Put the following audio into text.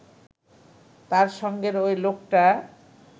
তার সঙ্গের ঐ লোকটা